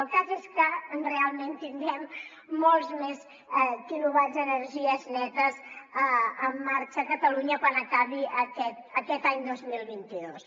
el cas és que realment tinguem molts més quilowatts d’energies netes en marxa a catalunya quan acabi aquest any dos mil vint dos